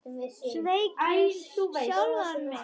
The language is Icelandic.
Sveik ég sjálfan mig?